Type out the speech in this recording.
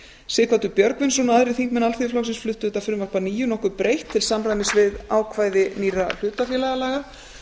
sighvatur björgvinsson og aðrir þingmenn alþýðuflokksins fluttu þetta frumvarp að nýju nokkuð breytt til samræmis við ákvæði nýrra hlutafélagalaga